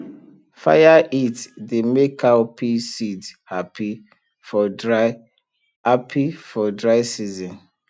fire heat dey make cowpea seed happy for dry happy for dry season